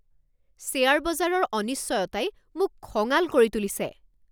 Share বজাৰৰ অনিশ্চয়তাই মোক খঙাল কৰি তুলিছে!